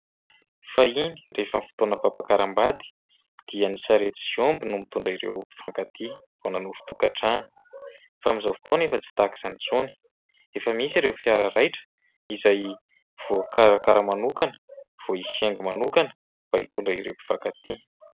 Fahiny rehefa fotoana fampiakaram-bady dia ny sarety sy omby no mitondra ireo mpifankatia vao nanorin-tokantrano. Fa amin'izao fotoana tsy tahaka izany intsony. Efa misy ireo fiara raitra izay voakarakara manokana, voaisy haingo manokana mba hitondra ireo mpifankatia.